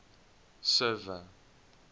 server